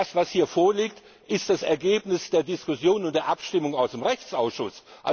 Das, was hier vorliegt, ist das Ergebnis der Diskussion und der Abstimmung aus dem Rechtsausschuss.